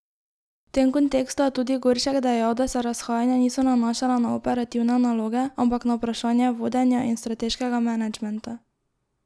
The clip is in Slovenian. V tem kontekstu je tudi Goršek dejal, da se razhajanja niso nanašala na operativne naloge, ampak na vprašanje vodenja in strateškega menedžmenta.